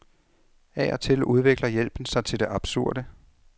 Af og til udvikler hjælpen sig til det absurde.